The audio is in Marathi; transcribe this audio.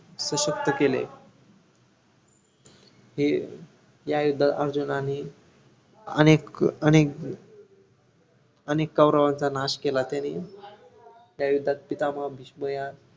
सुशक्त केले हे या युद्धात अर्जुनांनी अनेक अनेक अनेक कौरवांचा नाश केला त्यांनी त्या युद्धात पितामह भीष्म या